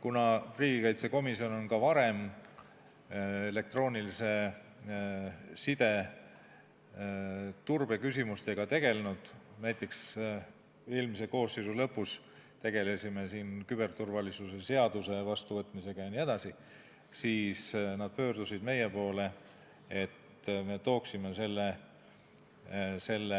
Kuna riigikaitsekomisjon on ka varem elektroonilise side turbe küsimustega tegelenud, näiteks eelmise koosseisu lõpus tegelesime siin küberturvalisuse seaduse vastuvõtmisega, siis pöördusid nad meie poole, et meie tooksime selle